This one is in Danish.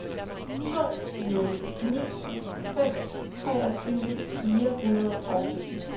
to nul ni fem treogtyve fire hundrede og sytten